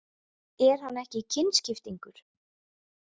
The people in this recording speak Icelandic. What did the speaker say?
Er hann ekki kynskiptingur?